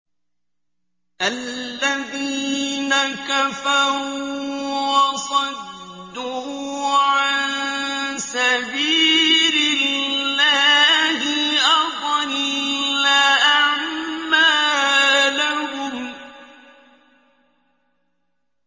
الَّذِينَ كَفَرُوا وَصَدُّوا عَن سَبِيلِ اللَّهِ أَضَلَّ أَعْمَالَهُمْ